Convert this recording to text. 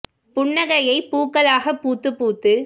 புன்னகையைப் பூக்களாகப் பூத்துப் பூத்துப்